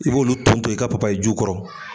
I b'olu ton ton i ka papayi juw kɔrɔ.